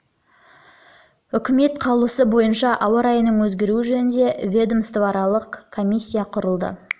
жылы үкіметінің қаулысы бойынша ауа райының өзгеруі жөніндегі ведомствоаралық комиссия құрылды